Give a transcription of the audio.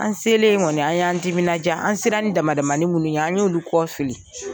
An selen ŋɔni an y'an timinanja. An sera ni dama-damani minnu ye an y'olu kɔ fili.